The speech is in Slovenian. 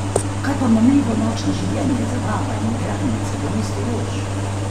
Kaj pa mamljivo nočno življenje, zabava in igralnice v mestu rož?